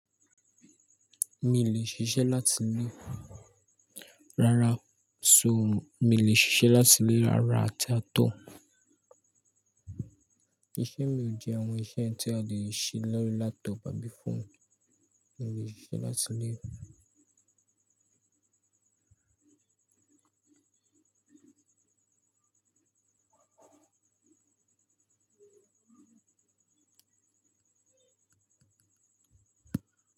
Mi i lè ṣiṣẹ́ láti ilé. Rárá, so mí ò lè ṣiṣẹ́ láti ilé. Rárá, ati at all. Iṣẹ́ mi ò jẹ àwọn iṣẹ́ tí a lè ṣe lórí laptop àbí phone. Mi ò lè ṣiṣẹ́ láti ilé o.